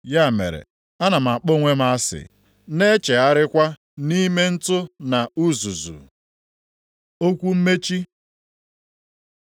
Ya mere, ana m akpọ onwe m asị, na echegharịkwa nʼime ntụ na uzuzu.” Okwu mmechi